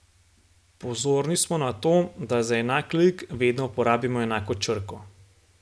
Pozorni smo na to, da za enak lik vedno uporabimo enako črko.